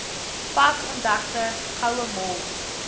pas ontdekte gouemol